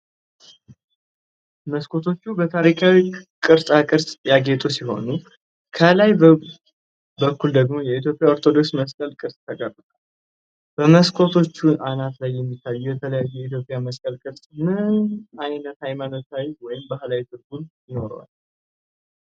መስኮቶቹ በጥንታዊ ቅርጻ ቅርጾች ያጌጡ ሲሆኑ፣ ከላይ በኩል ደግሞ የኢትዮጵያ ኦርቶዶክስ መስቀል ቅርፅ ተቀርጿል። በመስኮቶቹ አናት ላይ የሚታየው የተለየ የኢትዮጵያ መስቀል ቅርፅ ምን ዓይነት ሃይማኖታዊ ወይም ባህላዊ ትርጉም ይኖረዋል?